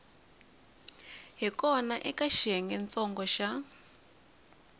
hi kona eka xiyengentsongo xa